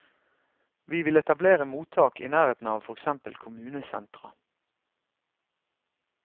Vi vil etablere mottak i nærheten av for eksempel kommunesentra.